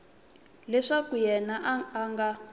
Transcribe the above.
leswaku yena a a nga